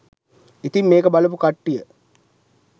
ඉතින් මේක බලපු කට්ටිය